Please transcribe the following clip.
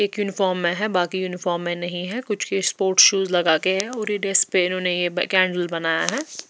एक यूनिफॉर्म में हैं बाकी यूनिफॉर्म में नहीं हैं कुछ के स्पोर्ट्स शूज़ लगा के है और ये डैस पे रोने ये ब कैंडल बनाया है।